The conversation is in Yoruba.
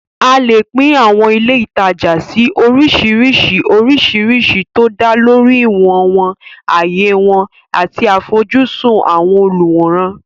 A lè pín àwọn ilé ìtajà sí oríṣiríṣi oríṣìíríṣìí tó dá lórí ìwọ̀n wọn, ààyè wọn, àti àfojúsùn àwọn olùwòran.